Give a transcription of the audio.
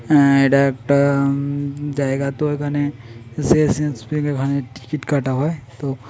হ্যাঁ এটা একটা হমম জায়গায় তো এখানে ওখানে টিকিট কাটা হয়।